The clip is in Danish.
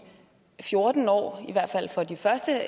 fjorten år i hvert fald for de første